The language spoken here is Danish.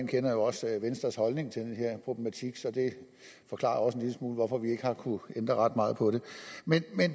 kender jo også venstres holdning til den her problematik så det forklarer også en lille smule om hvorfor vi ikke har kunnet ændre ret meget på det men